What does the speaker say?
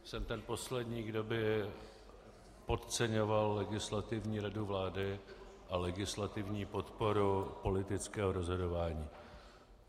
Jsem ten poslední, kdo by podceňoval Legislativní radu vlády a legislativní podporu politického rozhodování.